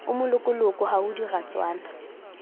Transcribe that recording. o molokoloko ha ho diratswana